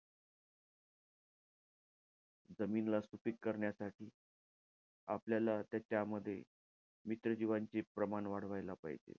जमीनला सुपीक कारण्यासाठी आपल्याला त्याच्यामध्ये मित्र जीवांचे प्रमाण वाढवायला पाहिजे.